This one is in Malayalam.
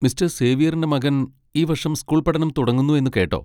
മിസ്റ്റർ സേവ്യറിന്റെ മകൻ ഈ വർഷം സ്കൂൾപഠനം തുടങ്ങുന്നു എന്ന് കേട്ടോ?